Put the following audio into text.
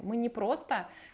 мы не просто